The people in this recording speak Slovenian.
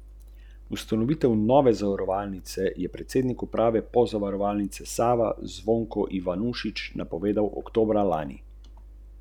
Načrti novega lastnika so razvojno usmerjeni.